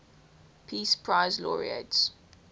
peace prize laureates